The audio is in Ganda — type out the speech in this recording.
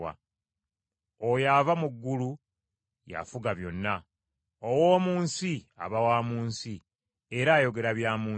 “Oyo ava mu ggulu, yafuga byonna. Ow’omu nsi, aba wa mu nsi, era ayogera bya mu nsi.